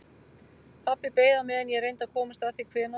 Pabbi beið á meðan ég reyndi að komast að því hvenær